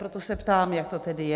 Proto se ptám, jak to tedy je.